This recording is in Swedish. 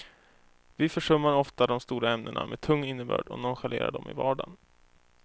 Vi försummar ofta de stora ämnena med tung innebörd och nonchalerar dem i vardagen.